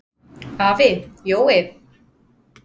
Afi Jói.